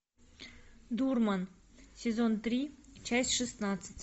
дурман сезон три часть шестнадцать